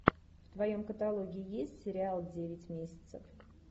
в твоем каталоге есть сериал девять месяцев